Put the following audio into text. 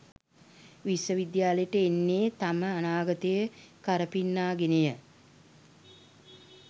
විශ්ව විද්‍යාලයට එන්නේ තම අනාගතය කරපින්නා ගෙනය.